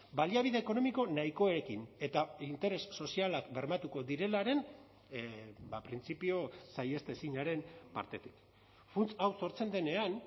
baliabide ekonomiko nahikoekin eta interes sozialak bermatuko direlaren printzipio saihestezinaren partetik funts hau sortzen denean